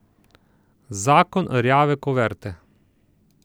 Zakon rjave kuverte.